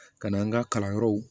Ka n'an ka kalanyɔrɔw